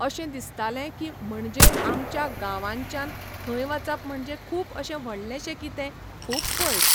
अशें दिसतालें की म्हणजे आमच्या गांवानच्यान थंय वचप म्हणजे खूब अशें व्हडलेंशें कितें, खूब पयस.